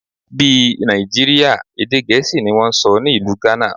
Bí Nàìjíríà, èdè Gẹ̀ẹ́sì ni wón ń sọ ní ìlú Ghana.